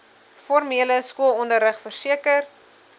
formele skoolonderrig verseker